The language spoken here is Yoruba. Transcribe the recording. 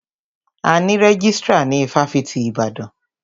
A ní rẹ́jístrà ní ifáfitì Ibadan.